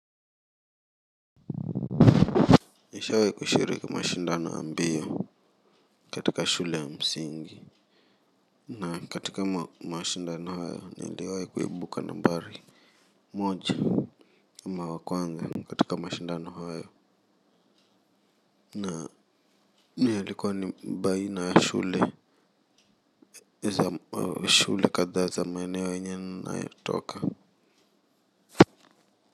Nishawai kushiriki mashindano ya mbio katika shule ya msingi na katika mashindano hayo niliwai kuibuka nambari moja ama wa kwanza katika mashindano hayo na na yalikuwa ni baina ya shule shule kadhaa za maeneo yenye ninayotoka.